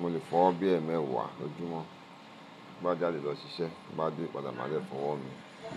Mo lè fọ ọwọ́ bí ẹẹ́mẹ́wàá lójúmọ́. Bí bá jáde lọ ṣiṣẹ́, tí n bá dé padà, màá dẹ̀ fọwọ́ mi.